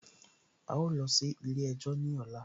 A ó lọ sí ilé ẹjọ́ ní ọ̀la